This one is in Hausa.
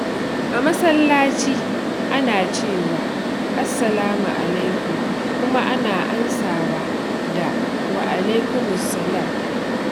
A masallaci, ana cewa "Assalamu alaikum" kuma ana amsawa da "Wa alaikumus salam."